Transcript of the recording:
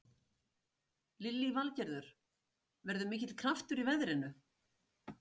Lillý Valgerður: Verður mikill kraftur í veðrinu?